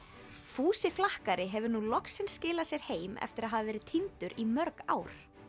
fúsi flakkari hefur nú loksins skilað sér heim eftir að hafa verið týndur í mörg ár